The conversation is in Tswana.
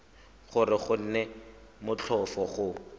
gore go nne motlhofo go